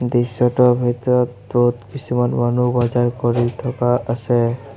দৃশ্যটোৰ ভিতৰত বহুত কিছুমান মানুহ বজাৰ কৰি থকা আছে।